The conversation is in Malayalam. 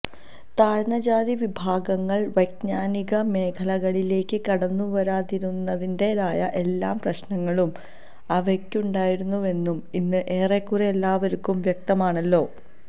താഴ്ന്ന ജാതിവിഭാഗങ്ങള് വൈജ്ഞാനിക മേഖലകളിലേക്ക് കടന്നുവരാതിരുന്നതിന്റേതായ എല്ലാ പ്രശ്നങ്ങളും അവക്കുണ്ടായിരുന്നുവെന്നു ഇന്ന് ഏറെക്കുറേ എല്ലാവര്ക്കും വ്യക്തമാണല്ലോ